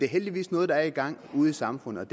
heldigvis noget der er i gang ude i samfundet